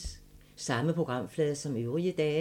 Samme programflade som øvrige dage